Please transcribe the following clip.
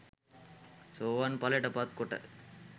සෝවාන් ඵලයට පත් කොට